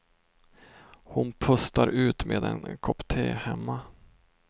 Hon pustar ut med en kopp te hemma.